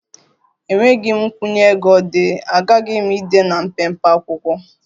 Enweghị nkwụnye ego dị, aghaghị m ide na mpempe akwụkwọ